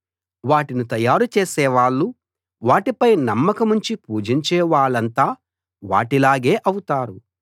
వాటిని తయారు చేసేవాళ్ళు వాటిపై నమ్మకముంచి పూజించే వాళ్లంతా వాటిలాగే అవుతారు